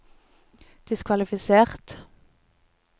diskvalifisert